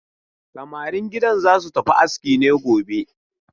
Samarin gidan za su tafi aski ne gobe?